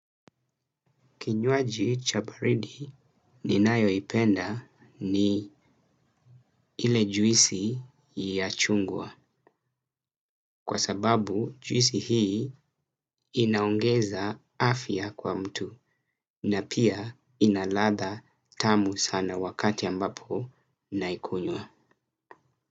Kinyuaji cha baridi ninayo ipenda ni ile juisi ya chungwa kwa sababu juisi hii inaongeza afya kwa mtu na pia ina latha tamu sana wakati ambapo naikunywa.